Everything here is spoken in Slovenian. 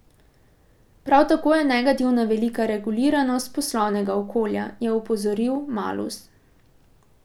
Prav tako je negativna velika reguliranost poslovnega okolja, je opozoril Malus.